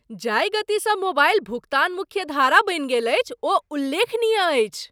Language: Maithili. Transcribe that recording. जाहि गतिसँ मोबाइल भुगतान मुख्यधारा बनि गेल अछि ओ उल्लेखनीय अछि।